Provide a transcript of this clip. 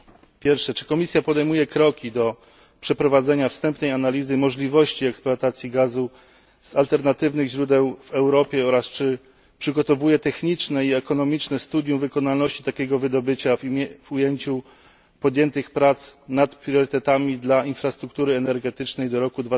Po pierwsze czy Komisja podejmuje kroki w celu przeprowadzenia wstępnej analizy możliwości eksploatacji gazu z alternatywnych źródeł w Europie oraz czy przygotowuje techniczne i ekonomiczne studium wykonalności takiego wydobycia w kontekście prac nad priorytetami dla infrastruktury energetycznej do roku